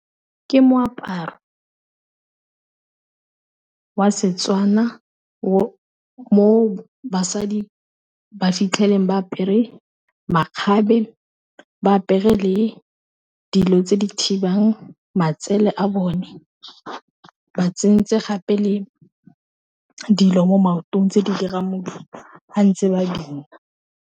Ke moaparo wa Setswana mo basadi ba fitlheleng ba apere makgabe ba apere le dilo tse di thibang matsele a bone, ba tsentse gape le dilo mo maotong tse di dirang modumo ge ntse ba Bina.